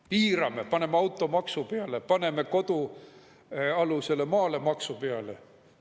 Piirame, paneme automaksu peale, paneme kodualusele maale maksu peale.